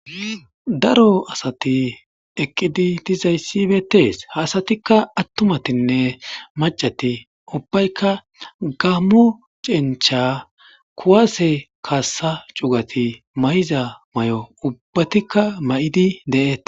Daaro asati eqqidi diizayssi bettes ha assatika attumatinne maccati ubbaykka gammo cenchcha kuwasse kassa cuggati maayiza mayo ubbatika mayidi de'ettes.